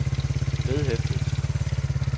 vedhæftet